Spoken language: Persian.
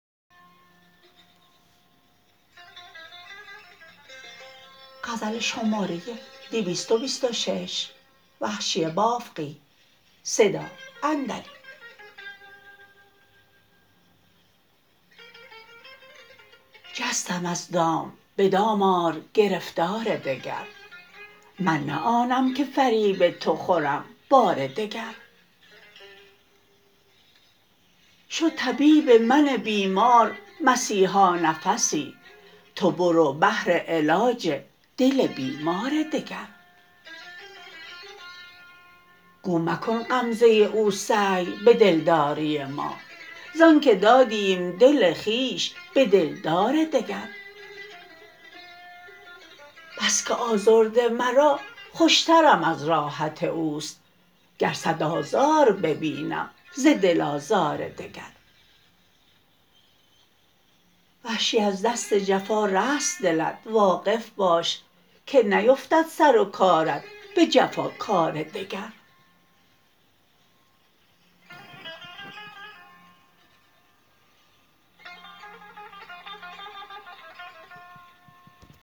جستم از دام به دام آر گرفتار دگر من نه آنم که فریب تو خورم بار دگر شد طبیب من بیمار مسیحا نفسی تو برو بهر علاج دل بیمار دگر گو مکن غمزه او سعی به دلداری ما زانکه دادیم دل خویش به دلدار دگر بسکه آزرده مرا خوشترم از راحت اوست گر سد آزار ببینم ز دل آزار دگر وحشی از دست جفا رست دلت واقف باش که نیفتد سرو کارت به جفا کار دگر